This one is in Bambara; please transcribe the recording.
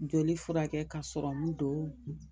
Joli furakɛ ka serɔmu don.